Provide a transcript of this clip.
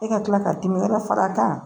E ka tila ka dimi lafara a kan